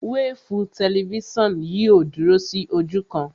Wéèfù tẹlifísàn yìí ò dúró sí ojú kan